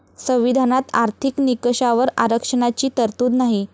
संविधानात आर्थिक निकषावर आरक्षणाची तरतूद नाही.